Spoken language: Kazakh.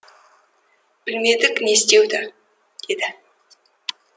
білмедік не істеуді деді